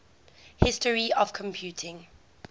history of computing